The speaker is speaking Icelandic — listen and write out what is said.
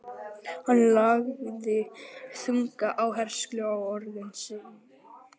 Hann lagði þunga áherslu á orð sín.